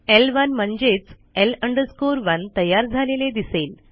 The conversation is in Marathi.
ल1 म्हणजेच L 1 तयार झालेले दिसेल